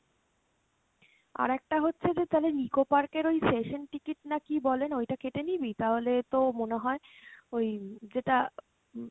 আরেকটা হচ্ছে যে তালে Nicco Park এর ওই session ticket না কী বলে না ওইটা কেটে নিবি? তাহলে তো মনে হয় ওই যেটা উম